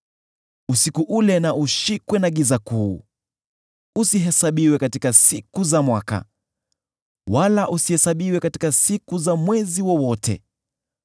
Usiku ule na ushikwe na giza kuu; usihesabiwe katika siku za mwaka, wala usihesabiwe katika siku za mwezi wowote.